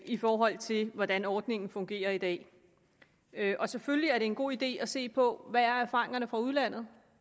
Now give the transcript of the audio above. i forhold til hvordan ordningen fungerer i dag og selvfølgelig er det en god idé at se på hvad erfaringerne fra udlandet